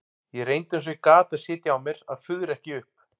Ég reyndi eins og ég gat að sitja á mér að fuðra ekki upp.